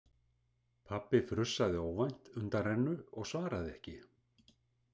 Pabbi frussaði óvænt undanrennu og svaraði ekki.